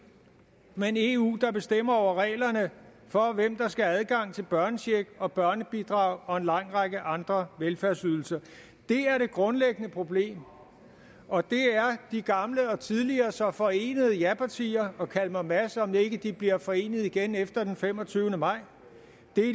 men eu der bestemmer over reglerne for hvem der skal have adgang til børnecheck og børnebidrag og en lang række andre velfærdsydelser det er det grundlæggende problem og det er de gamle og tidligere så forenede japartier og kalde mig mads om ikke de bliver forenet igen efter den femogtyvende maj